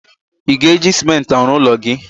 Ị ga-eji Simenti arụ ụlọ gị?